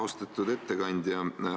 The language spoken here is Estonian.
Austatud ettekandja!